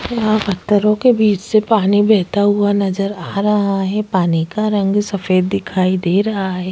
यहाँ पत्थरों के बिच से पानी बेहता हुआ नजर आ रहा है पानी का रंग सफ़ेद दिखाई दे रहा है।